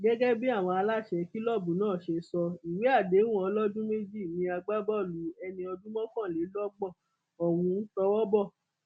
gẹgẹ bí àwọn aláṣẹ kìlọọbù náà ṣe sọ ìwé àdéhùn ọlọdún méjì ní agbábọọlù ẹni ọdún mọkànlélọgbọn ohun tówó bọ